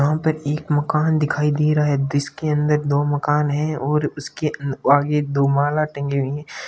यहां पर एक मकान दिखाई दे रहा है जिसके अंदर दो मकान है और उसके आगे दो माला टंगी हुई है।